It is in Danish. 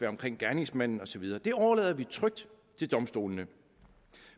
omkring gerningsmanden og så videre det overlader vi trygt til domstolene